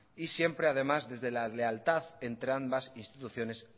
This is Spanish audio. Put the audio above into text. y siempre además desde la lealtad entre ambas instituciones